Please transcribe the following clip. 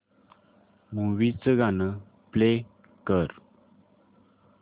movie चं गाणं play कर